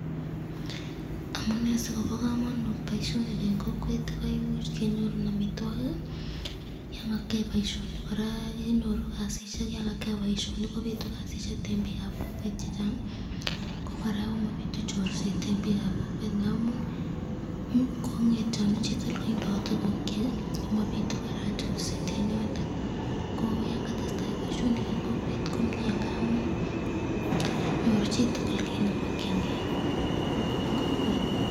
Amunee sikobo komonut boishoni en kokwet koimuuch kenyorun amitwokik, yoon kakiyai boishonik kora kenyoru kasishek yoon kakiyai boishonik kobitu kasishek en biikab kokwet chechang, ko kora komobitu chorset en biikab kokwet amuun kong'etyonu chitukul kotindo tukukyik komobitu kora chorset en yoton, ko yaan katestai boishonik en kokwet komnyee ng'amun nyoru chitukul kiit nemokyin kee en kokwet.